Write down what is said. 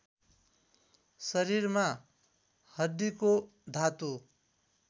शरीरमा हड्डीको धातु